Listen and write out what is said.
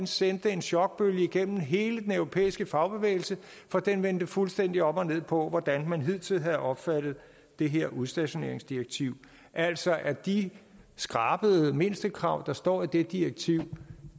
sendte en chokbølge gennem hele den europæiske fagbevægelse fordi den vendte fuldstændig op og ned på hvordan man hidtil havde opfattet det her udstationeringsdirektiv altså at de skrabede mindstekrav der står i det direktiv